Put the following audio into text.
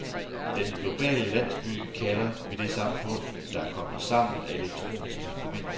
Den globale landsby kalder vi det samfund, der er koblet sammen af elektroniske forbindelser.